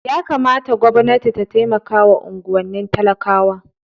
Ya kamata Gobnati ta taimakawa unguwannin talakawa.